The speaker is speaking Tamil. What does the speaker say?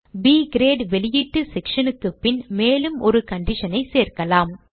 ப் கிரேட் வெளியீட்டு section க்கு பின் மேலும் ஒரு condition ஐ சேர்க்கலாம்